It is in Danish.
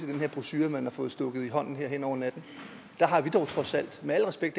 den her brochure man har fået stukket i hånden hen over natten der har vi dog trods alt med al respekt